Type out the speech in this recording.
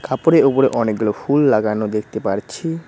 কাপড়ের উপরে অনেকগুলো ফুল লাগানো দেখতে পারছি।